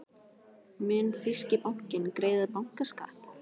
Mun þýski bankinn greiða bankaskatt?